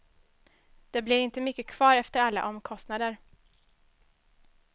Det blir inte mycket kvar efter alla omkostnader.